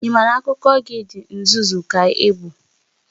Ị ma na akụkọ gị di nzuzu ka ị bụ?